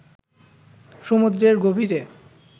সমুদ্রের গভীরে